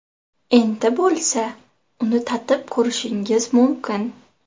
Endi bo‘lsa, uni tatib ko‘rishingiz mumkin!.